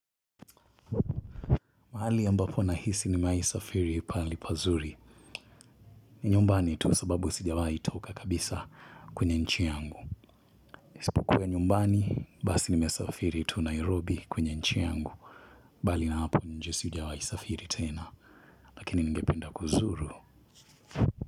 Mahali ambapo nahisi nimewai safiri pahali pazuri. Ni nyumbani tu sababu sijawai toka kabisa kwenye nchi yangu. Isipokuwa nyumbani, basi nimesafiri tu Nairobi kwenye nchi yangu. Bali na hapo nje sijawai safiri tena, lakini ningependa kuzuru.